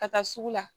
Ka taa sugu la